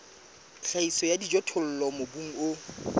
tlhahiso ya dijothollo mobung o